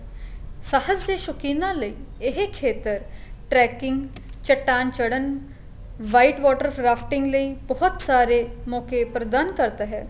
ਸਫ਼ਰ ਦੇ ਸ਼ੋਕਿਨਾ ਲਈ ਇਹ ਖੇਤਰ tracking ਚਟਾਨ ਚੜਨ white water rafting ਲਈ ਬਹੁਤ ਸਾਰੇ ਮੋਕੇ ਪ੍ਰਧਾਨ ਕਰਦਾ ਹੈ